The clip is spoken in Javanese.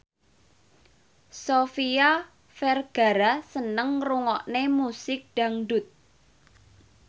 Sofia Vergara seneng ngrungokne musik dangdut